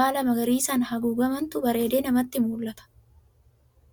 baala magariisaan haguugamantu bareedee namatti mul'ata.